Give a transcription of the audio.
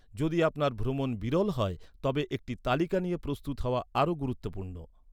যদি আপনার ভ্রমণ বিরল হয়, তবে একটি তালিকা নিয়ে প্রস্তুত হওয়া আরও গুরুত্বপূর্ণ।